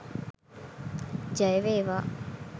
ජය වේවා!